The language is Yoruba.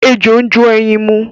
Ejò ń jó ẹyin mu.